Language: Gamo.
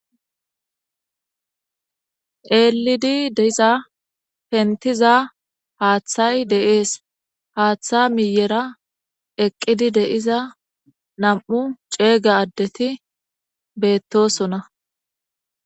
Eelidi deiza pentiza haaththay deees haaththa miyera eqqidi deiza nam'u ceega addeti beettosona.